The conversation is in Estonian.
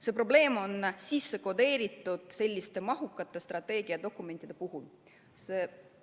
See probleem on sellistesse mahukatesse strateegiadokumentidesse sisse kodeeritud.